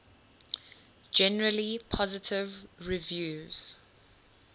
generally positive reviews